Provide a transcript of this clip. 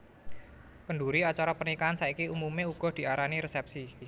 Kendhuri acara pernikahan saiki umumé uga diarani resèpsi